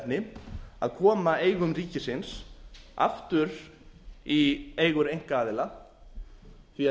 verkefni að koma eigum ríkisins aftur í eigu einkaaðila því að